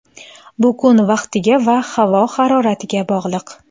Bu kun vaqtiga va havo haroratiga bog‘liq.